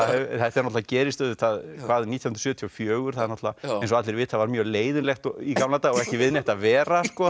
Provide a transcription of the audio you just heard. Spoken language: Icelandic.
þetta gerist auðvitað nítján hundruð sjötíu og fjögur það er eins og allir vita mjög leiðinlegt í gamla daga og ekki við neitt að vera það